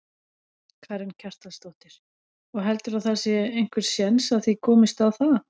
Karen Kjartansdóttir: Og heldurðu að það sé einhver séns að þið komist á það?